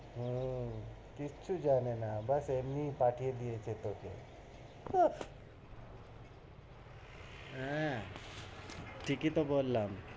হম কিচ্ছু জানে না। বাস এমনি পাঠিয়ে দিয়েছে তোকে, উহ হ্যাঁ, ঠিকি তো বললাম,